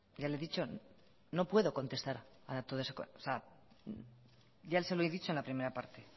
ya le he dicho que no puedo contestar ya se lo he dicho en la primera parte